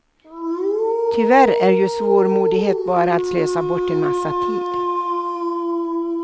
Tyvärr är ju svårmodighet bara att slösa bort en massa tid.